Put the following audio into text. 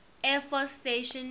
air force station